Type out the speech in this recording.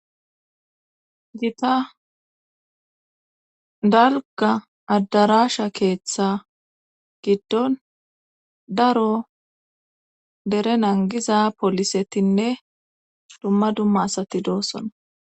gita dalga addaraasha keeththa giddon daro dere nangiza polisetinne dumma dumma asati doosona